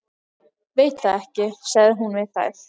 Veit það ekki sagði hún við þær.